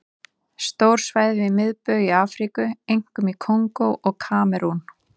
Stór svæði við miðbaug í Afríku, einkum í Kongó og Kamerún.